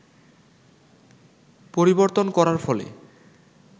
পরিবর্তন করার ফলে